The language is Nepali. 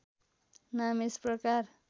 नाम यस प्रकार